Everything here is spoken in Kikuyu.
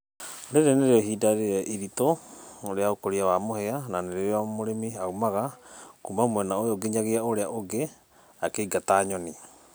rĩrĩ nĩrĩo ĩhĩnda rĩrĩa ĩrĩtũ rĩa ũkũrĩa wa mũhĩa na nĩrĩo mũrĩmĩ aũmaga kũũma mwena ũyũ ngĩnyagĩa ũũrĩa ũngĩ akĩĩngata nyonĩ